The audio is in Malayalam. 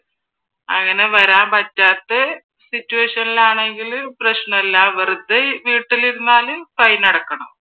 അങ്ങനെ വരാൻ പറ്റാത്തെ സിറ്റുവേഷനിൽ ആണെങ്കിൽ പ്രശ്നം ഇല്ല വെറുതെ വീട്ടിലിരുന്നാൽ ഫൈൻ അടക്കണം.